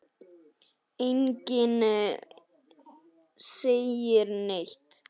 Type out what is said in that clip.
Enginn segir neitt.